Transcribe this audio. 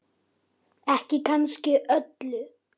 Lilla lús sem étur mús.